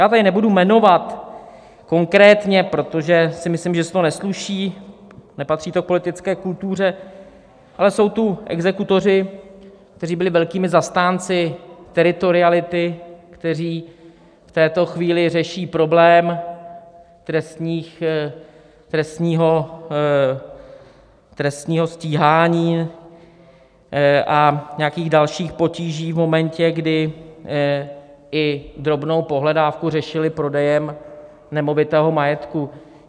Já tady nebudu jmenovat konkrétně, protože si myslím, že se to nesluší, nepatří to k politické kultuře, ale jsou tu exekutoři, kteří byli velkými zastánci teritoriality, kteří v této chvíli řeší problém trestního stíhání a nějakých dalších potíží v momentě, kdy i drobnou pohledávku řešili prodejem nemovitého majetku.